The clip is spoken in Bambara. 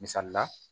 Misali la